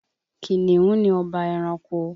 Kìnìún ni ọba ẹranko